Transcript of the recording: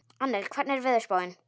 Annel, hvernig er veðurspáin?